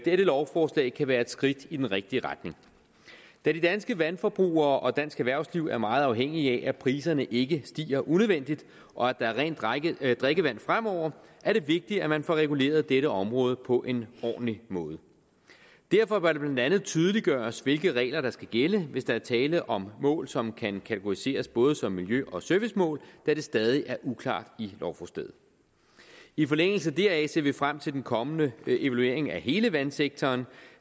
lovforslag kan være et skridt i den rigtige retning da de danske vandforbrugere og dansk erhvervsliv er meget afhængige af at priserne ikke stiger unødvendigt og at der er rent drikkevand fremover er det vigtigt at man får reguleret dette område på en ordentlig måde derfor bør det blandt andet tydeliggøres hvilke regler der skal gælde hvis der er tale om mål som kan kategoriseres både som miljø og servicemål da det stadig er uklart i lovforslaget i forlængelse deraf ser vi frem til den kommende evaluering af hele vandsektoren